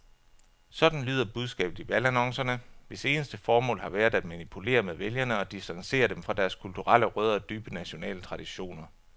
Sådan lyder budskabet i valgannoncerne, hvis eneste formål har været at manipulere med vælgere og distancere dem fra deres kulturelle rødder og dybe nationale traditioner.